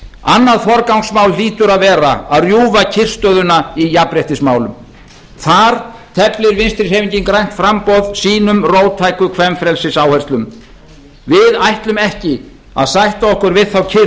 annað forgangsmál hlýtur að vera að rjúfa kyrrstöðuna í jafnréttismálum þar teflir vinstri hreyfingin grænt framboð sínum róttæku kvenfrelsisáherslum við ætlum ekki að sætta okkur við þá kyrrstöðu þá uppgjöf